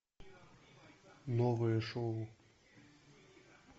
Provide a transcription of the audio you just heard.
новые шоу